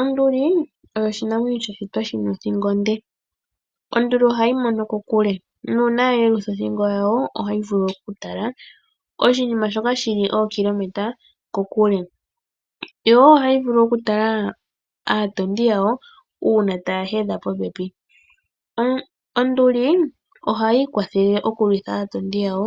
Onduli oyo oshinamwenyo sha shitwa shi na othingo onde. Onduli ohayi mono kokule nuuna ya yelutha othingo yawo ohayi vulu okutala oshinim ashoka shi li ookilometa dhontumba kokule. Ohayi vulu okutala aatondi yawo uuna taya hedha popepi. Onduli ohayi ipopile okulwitha aatondi yawo